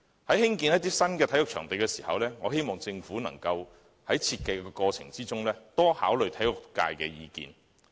在興建新的體育場地時，我希望政府能在設計過程中多考慮體育界的意見。